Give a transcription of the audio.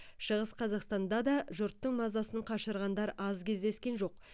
шығыс қазақстанда да жұрттың мазасын қашырғандар аз кездескен жоқ